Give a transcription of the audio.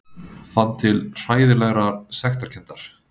Fann til hræðilegrar sektarkenndar.